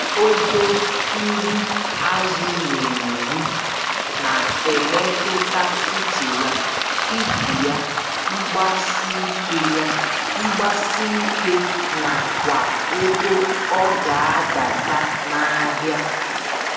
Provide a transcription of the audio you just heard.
Ogo nri azụ n'eri, na-emetụta ụcha ya, ibu ya, mgbasike ya, mgbasike nakwa ego ọgadata nahịa